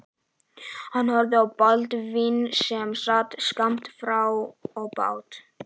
Hann horfði á Baldvin sem sat skammt frá og át.